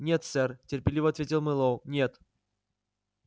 нет сэр терпеливо ответил мэллоу нет